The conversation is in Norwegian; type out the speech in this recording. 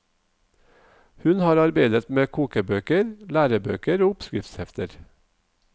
Hun har arbeidet med kokebøker, lærebøker og oppskriftshefter.